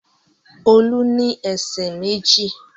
Olú ní ẹsẹ̀ méjì.